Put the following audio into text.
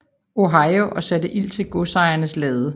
Ohio og satte ild til godsejerens lade